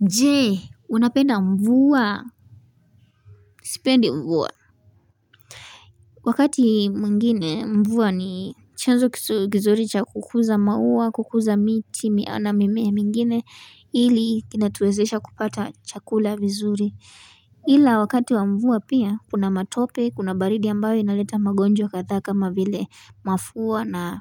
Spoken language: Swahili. Jee unapenda mvua Sipendi mvua Wakati mwingine mvua ni chanzo kizuri cha kukuza maua kukuza miti na mimea mingine hili kinatuwezesha kupata chakula vizuri ila wakati wa mvua pia kuna matope kuna baridi ambayo inaleta magonjwa kadhaa kama vile mafua na